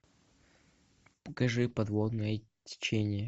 покажи подводное течение